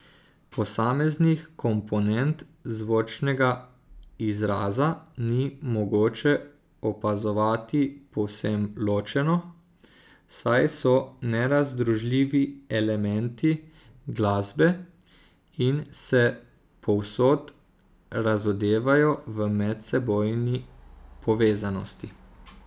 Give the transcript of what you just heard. Posameznih komponent zvočnega izraza ni mogoče opazovati povsem ločeno, saj so nerazdružljivi elementi glasbe in se povsod razodevajo v medsebojni povezanosti.